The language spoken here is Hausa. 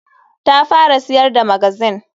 Ta fara siyar da magazine.